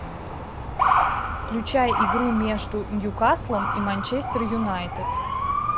включай игру между ньюкаслом и манчестер юнайтед